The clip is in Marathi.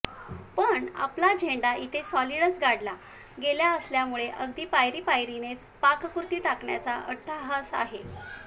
पण आपला झेंडा इथे सॉलिडच गाडला गेला असल्यामुळे अगदी पायरीपायरीने पाककृती टाकण्याचा अट्टहास आहे